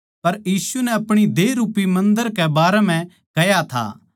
पर यीशु नै अपणी देह रूपी मन्दर कै बारै म्ह कह्या था